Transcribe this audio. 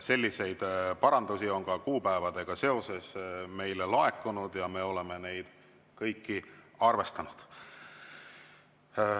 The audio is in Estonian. Selliseid parandusi kuupäevadega seoses on meile laekunud ja me oleme neid kõiki arvestanud.